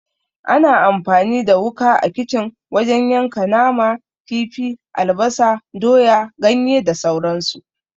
Ana amfani da wuka a kicin wajen yanka nama, kifi, albasa, doya, ganye da sauran su.